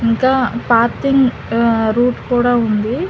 దా ఫాతింగ్ రూట్ కూడా ఉంది.